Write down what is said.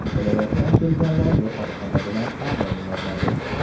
Viloyatdan kelganlar yotoqxona bilan ta’minlanadi!